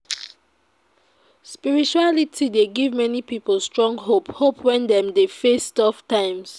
Spirituality dey give many pipo strong hope hope wen dem dey face tough times.